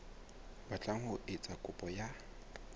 batlang ho etsa kopo ya